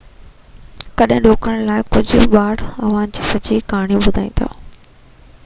ڪجهه ڏوڪڙن لاءِ ڪجهه ٻار اوهان کي سڄي ڪهاڻي ٻڌائيندا